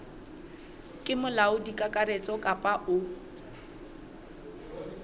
ke molaodi kakaretso kapa o